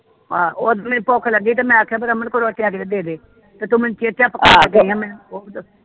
ਆਹ ਉਦਨ ਮੈਨੂੰ ਭੁੱਖ ਲੱਗੀ ਤੇ ਮੈਂ ਆਖਿਆ ਬਈ ਰਮਨ ਕੋਈ ਰੋਟੀ ਹੇਗੀ ਤੇ ਦੇ ਦੇ ਤੇ ਤੂੰ ਮੈਨੂੰ ਚੇਚਾ ਪਕਾਗੀ ਐ ਬੁਹਤ